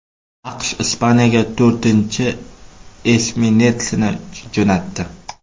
AQSh Ispaniyaga to‘rtinichi esminetsini jo‘natdi.